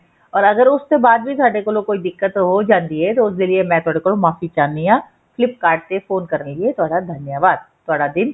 or ਅਗਰ ਉਸ ਦੇ ਬਾਅਦ ਵੀ ਸਾਡੇ ਕੋਲ ਕੋਈ ਦਿੱਕਤ ਹੋ ਜਾਂਦੀ ਹੈ ਤੇ ਉਸ ਲਈ ਮੇ ਤੁਹਾਡੇ ਕੋਲੋਂ ਮਾਫ਼ੀ ਚਾਹਣੀ ਹਾਂ flip kart ਤੇ ਫੋਨ ਕਰਨ ਲਈ ਤੁਹਾਡਾ ਧੰਨਵਾਦ